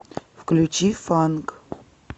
включи фанк